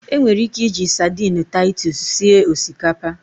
Enwere ike iji sadini Taitus sie osikapa.